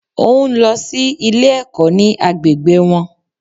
O n lọ sí Ilé ẹ̀kọ́ ní agbègbè wọn